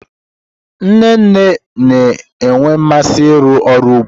Nne nne na-enwe mmasị ịrụ ọrụ n'ugbo.